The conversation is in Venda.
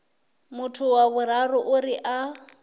muthu wa vhuraru uri a